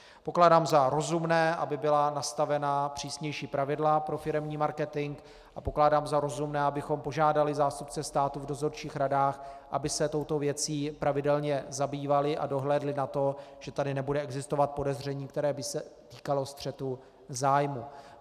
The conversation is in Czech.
Pokládám za rozumné, aby byla nastavena přísnější pravidla pro firemní marketing, a pokládám za rozumné, abychom požádali zástupce státu v dozorčích radách, aby se touto věcí pravidelně zabývali a dohlédli na to, že tady nebude existovat podezření, které by se týkalo střetu zájmů.